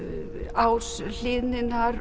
ás